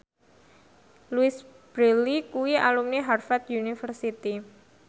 Louise Brealey kuwi alumni Harvard university